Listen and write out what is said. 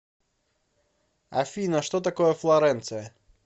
афина что такое флоренция